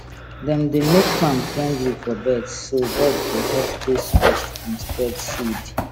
dem dey make farm friendly for birds so bird go help chase pest and spread seed